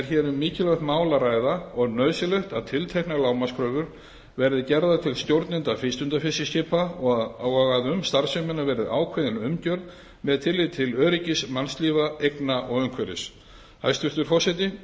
hér um mikilvægt mál að ræða og nauðsynlegt að tilteknar lágmarkskröfur verði gerðar til stjórnenda frístundafiskiskipa og að um starfsemina verði ákveðin umgjörð með tilliti til öryggis mannslífa eigna og umhverfis hæstvirtur forseti ég tel